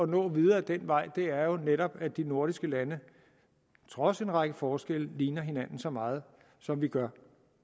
nå videre ad den vej er jo netop at de nordiske lande trods en række forskelle ligner hinanden så meget som de gør